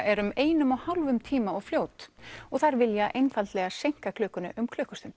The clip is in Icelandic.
er um einum og hálfum tíma of fljót og þær vilja einfaldlega seinka klukkunni um klukkustund